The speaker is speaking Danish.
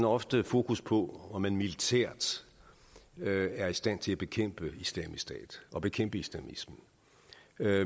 ofte fokus på om man militært er i stand til at bekæmpe islamisk stat og bekæmpe islamismen